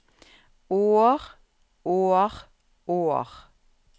år år år